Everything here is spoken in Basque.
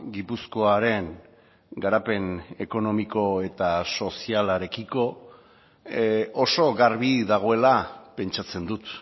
gipuzkoaren garapen ekonomiko eta sozialarekiko oso garbi dagoela pentsatzen dut